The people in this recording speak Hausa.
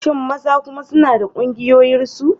Shin maza kuma suna da ƙungiyarsu?